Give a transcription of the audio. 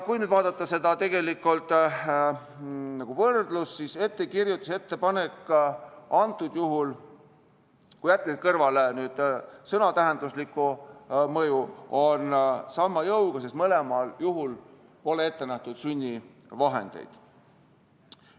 Kui vaadata seda nagu võrdlust, siis ettekirjutus ja ettepanek antud juhul, kui jätta kõrvale sõna tähenduslik mõju, on sama jõuga, sest kummalgi juhul pole ette nähtud sunnivahendeid.